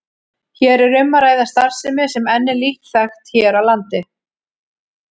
Hér er um að ræða starfsemi sem enn er lítt þekkt hér á landi.